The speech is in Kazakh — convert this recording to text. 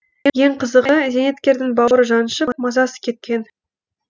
ең қызығы зейнеткердің бауыры жаншып мазасы кеткен